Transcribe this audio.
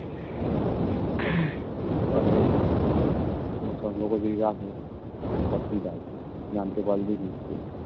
হ্যাঁ সব হয়েছেএবার সম্পর্ক যদি রাখে সত্যি তাই জানতে পারলেই মুশকিল